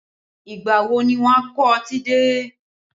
Ìgbà wo ni wọn a kó ọtí dé?